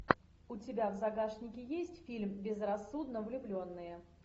у тебя в загашнике есть фильм безрассудно влюбленные